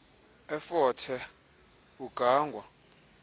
efort hare ugangwa